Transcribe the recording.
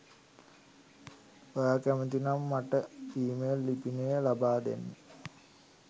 ඔයා කැමති නම් මට ඊමේල් ලිපිනය ලබාදෙන්න